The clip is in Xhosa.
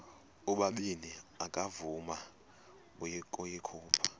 ubabini akavuma ukuyikhupha